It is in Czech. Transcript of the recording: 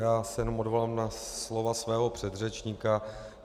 Já se jenom odvolám na slova svého předřečníka.